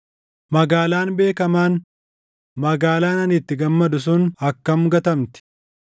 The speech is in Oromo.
Magaalaan beekamaan, magaalaan ani itti gammadu sun akkam gatamti!